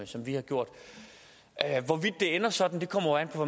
som vi har gjort hvorvidt det ender sådan kommer an på